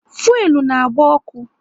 Fuelu na agba ọkụ